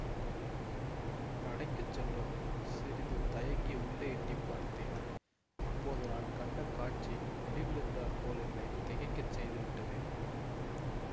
நடைக்குச் சென்றதும் சிறிது தயங்கி உள்ளே எட்டி பார்த்தேன் அப்போது நான் கண்ட காட்சி இடிவிழுந்தாற்போல் என்னை திகைக்கச் செய்து விட்டது